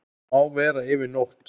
Má vera yfir nótt.